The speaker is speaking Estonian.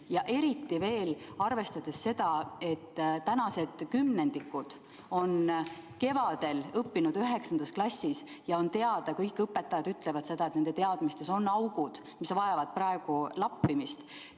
Ja tuleb ju arvestada ka seda, et tänased kümnendikud lõpetasid kevadel 9. klassi, ja on teada, et kõik õpetajad ütlevad seda, et nende teadmistes on augud, mis vajavad lappimist.